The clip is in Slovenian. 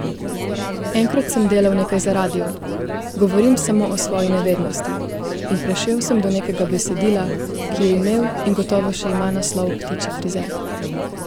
Enkrat sem delal nekaj za radio, govorim samo o svoji nevednosti, in prišel sem do nekega besedila, ki je imel in gotovo še ima naslov Ptičji frizer.